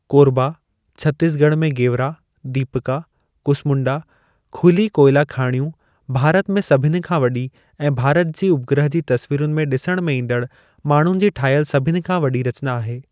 कोरबा, छत्तीसगढ़ में गेवरा, दीपका, कुसमुंडा खुली कोयला खाणियूं भारत में सभिनी खां वॾी ऐं भारत जी उपग्रह जी तस्वीरुनि में ॾिसण में ईंदड़ माण्हुनि जी ठाहियल सभिनी खां वॾी रचना आहे।